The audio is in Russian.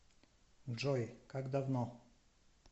джой как давно